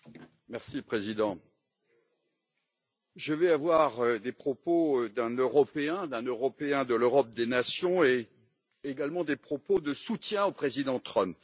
Monsieur le Président, je vais avoir des propos d'un Européen, d'un Européen de l'Europe des nations, et également des propos de soutien au président Trump.